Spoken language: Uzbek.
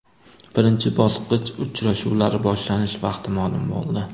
Birinchi bosqich uchrashuvlari boshlanish vaqti ma’lum bo‘ldi.